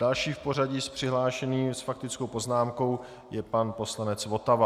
Další v pořadí z přihlášených s faktickou poznámkou je pan poslanec Votava.